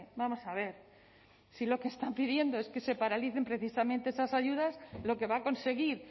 vamos a ver si lo que están pidiendo es que se paralicen precisamente esas ayudas lo que va a conseguir